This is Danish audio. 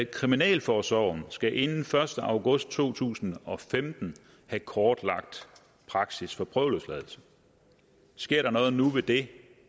kriminalforsorgen skal inden den første august to tusind og femten have kortlagt praksis for prøveløsladelse sker der noget nu ved det